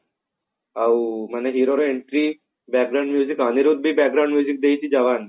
ଆଉ ମାନେ hero ର entry ଅନିରୁଦ୍ଧ ବି ଦେଇଛି ଯବାନ କୁ